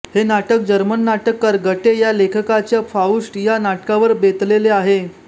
हे नाटक जर्मन नाटककार गटे या लेखकाच्या फाउस्ट या नाटकावर बेतलेले आहे